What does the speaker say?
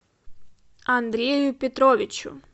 андрею петровичу